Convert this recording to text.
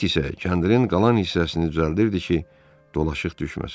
Pit isə kəndirin qalan hissəsini düzəldirdi ki, dolaşıq düşməsin.